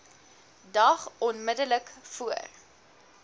dag onmiddellik voor